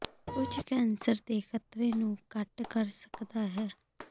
ਕੁਝ ਕੈਂਸਰ ਦੇ ਖ਼ਤਰੇ ਨੂੰ ਘੱਟ ਕਰ ਸਕਦਾ ਹੈ